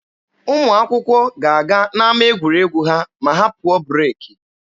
Ụmụ akwụkwọ ga-aga n'ama egwuregwu ha ma ha pụọ breeki.